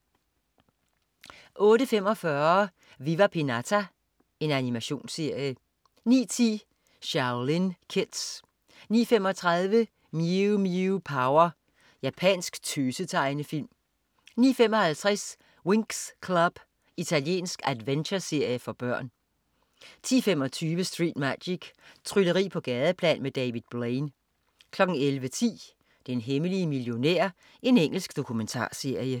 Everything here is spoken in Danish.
08.45 Viva Pinata. Animationsserie 09.10 Shaolin Kids 09.35 Mew Mew Power. Japansk tøse-tegnefilm 09.55 Winx Club. Italiensk adventureserie for børn 10.25 Street Magic. Trylleri på gadeplan med David Blaine 11.10 Den hemmelige millionær. Engelsk dokumentarserie